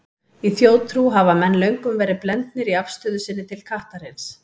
Í þjóðtrú hafa menn löngum verið blendnir í afstöðu sinni til kattarins.